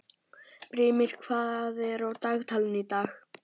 Brimir, hvað er á dagatalinu í dag?